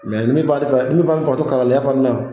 Mɛ ne fana te fɛ ne fana te fɛ ka to kalandenya fana na